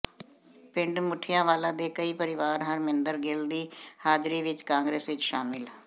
ਪਿੰਡ ਮੁੱਠਿਆਂਵਾਲਾ ਦੇ ਕਈ ਪਰਿਵਾਰ ਹਰਮਿੰਦਰ ਗਿੱਲ ਦੀ ਹਾਜ਼ਰੀ ਵਿਚ ਕਾਂਗਰਸ ਵਿਚ ਸ਼ਾਮਿਲ